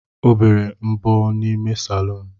Ọ bere mbọ n’ime salọn